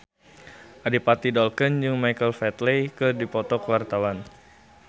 Adipati Dolken jeung Michael Flatley keur dipoto ku wartawan